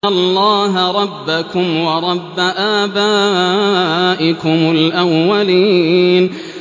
اللَّهَ رَبَّكُمْ وَرَبَّ آبَائِكُمُ الْأَوَّلِينَ